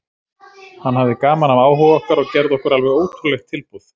Hann hafði gaman af áhuga okkar og gerði okkur alveg ótrúlegt tilboð.